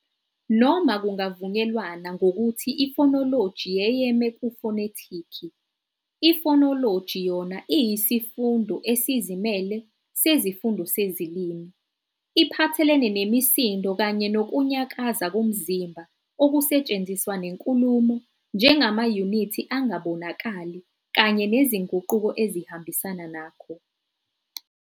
Noma kuvunyelwana ngokuthi ifonoloji yeyeme kufonetiki, ifonoloji yona iyisifundo esizimele sesifundo sezilimi, iphathelene nemisindo kanye nokunyakaza komzimba okusetshenziswa nenkulumo njengamayunithi angabonakali kanye nezinguquko ezihambisana nakho.